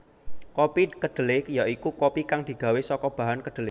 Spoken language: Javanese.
Kopi kedhelé ya iku kopi kang digawé saka bahan kedhelé